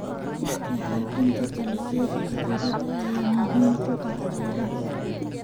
Iska caabbinta dalagyada cudurada ayaa muhiim u ah beeraha.